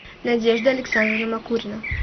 надежда александровна макурина